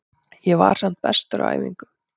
Ég var samt bestur á æfingum.